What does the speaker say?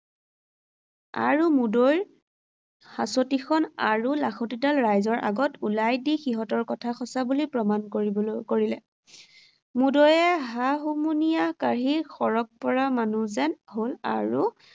আৰু মুদৈৰ হাঁচতিখন আৰু লাখুটিডাল ৰাইজৰ আগত উলিয়াই দি সিহঁতৰ কথা সঁচা বুলি প্ৰমাণ কৰিবলৈ, কৰিলে। মুদৈয়ে হা-হুমুনিয়াহ কাঢ়ি সৰগ পৰা মানুহ যেন হ’ল আৰু